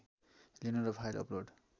लिनु र file upload